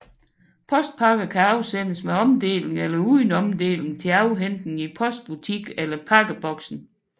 Postpakker kan afsendes med omdeling eller uden omdeling til afhentning i postbutik eller pakkeboksen